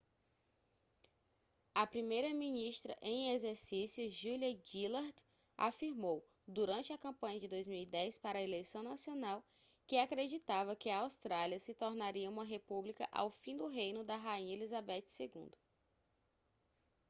a primeira-ministra em exercício julia gillard afirmou durante a campanha de 2010 para a eleição nacional que acreditava que a austrália se tornaria uma república ao fim do reino da rainha elizabeth ii